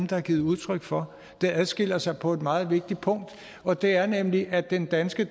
der har givet udtryk for det adskiller sig på et meget vigtigt punkt og det er nemlig at den danske